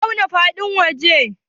waye ya auna faɗin wajen?